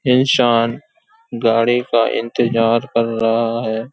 इंसान गाड़ी का इंतज़ार कर रहा है |